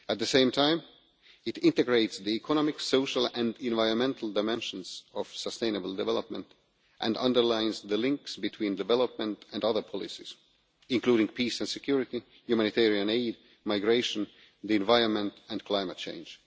At the same time, it integrates the economic, social and environmental dimensions of sustainable development and underlines the links between development and other policies, including peace and security, humanitarian aid, migration, the environment and climate change.